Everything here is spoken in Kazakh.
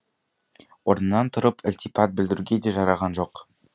орнынан тұрып ілтипат білдіруге де жараған жоқ